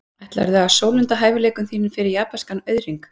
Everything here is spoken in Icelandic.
Ætlarðu að sólunda hæfileikum þínum fyrir japanskan auðhring?